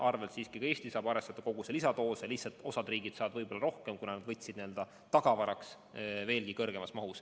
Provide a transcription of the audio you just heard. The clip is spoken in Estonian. Õnneks siiski ka Eesti saab arvestada teatud koguse lisadoosidega, lihtsalt osa riike saab neid rohkem, kuna nad tellisid vaktsiini tagavaraks veelgi suuremas mahus.